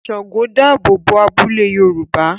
Ṣàngó dáàbò bo abúlé Yorùbá